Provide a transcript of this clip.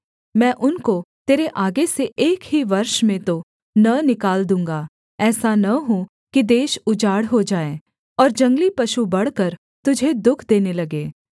मैं उनको तेरे आगे से एक ही वर्ष में तो न निकाल दूँगा ऐसा न हो कि देश उजाड़ हो जाए और जंगली पशु बढ़कर तुझे दुःख देने लगें